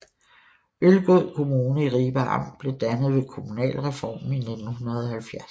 Ølgod Kommune i Ribe Amt blev dannet ved kommunalreformen i 1970